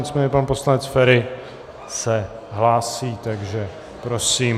Nicméně pak poslanec Feri se hlásí, takže prosím.